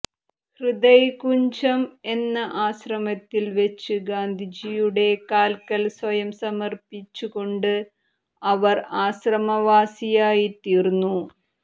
ഹൃദയ്കുഞ്ജം എന്ന ആശ്രമത്തിൽ വെച്ച് ഗാന്ധിജിയുടെ കാൽക്കൽ സ്വയം സമർപ്പിച്ചുകൊണ്ട് അവർ ആശ്രമവാസിയായിത്തീർന്നു